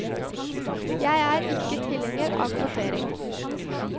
Jeg er ikke tilhenger av kvotering.